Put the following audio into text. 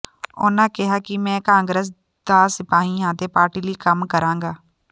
ਉਨ੍ਹਾਂ ਕਿਹਾ ਕਿ ਮੈਂ ਕਾਂਗਰਸ ਦਾ ਸਿਪਾਹੀ ਹਾਂ ਤੇ ਪਾਰਟੀ ਲਈ ਕੰਮ ਕਰਾਂਗਾ